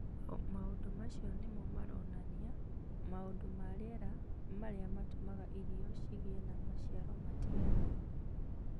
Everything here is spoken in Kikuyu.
Maũndũ macio nĩ mo maronania maũndũ ma rĩera marĩa matũmaga irio cigĩe na maciaro matigaine